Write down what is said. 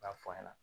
N b'a f'a ɲɛna